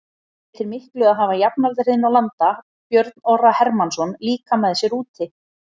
Breytir miklu að hafa jafnaldra þinn og landa Björn Orra Hermannsson líka með sér úti?